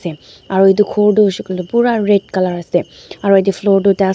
se aro edu khor tu hoishey koilae pura red colour ase aro edu floor tu--